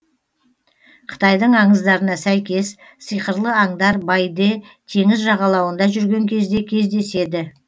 қытайдың аңыздарына сәйкес сиқырлы аңдар байде теңіз жағалауында жүрген кезде кездеседі